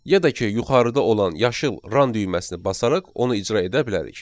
Ya da ki, yuxarıda olan yaşıl run düyməsini basaraq onu icra edə bilərik.